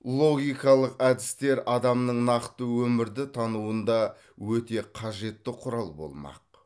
логикалық әдістер адамның накты өмірді тануында өте қажетті кұрал болмақ